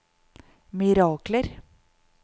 mirakler